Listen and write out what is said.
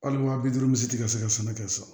Hali wa bi duuru misi tɛ ka se ka sɛnɛ kɛ sa